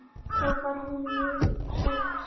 Þá var hún mjög hrædd.